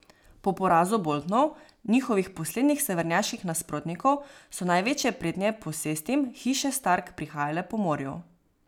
Po porazu Boltonov, njihovih poslednjih severnjaških nasprotnikov, so največje pretnje posestim hiše Stark prihajale po morju.